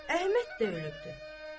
Əhməd də ölübdür.